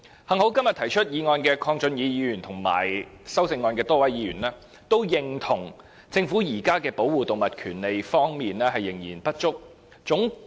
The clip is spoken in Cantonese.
幸好今天提出議案的鄺俊宇議員和修正案的多位議員皆認同，政府現時在保護動物權利方面仍有不足之處。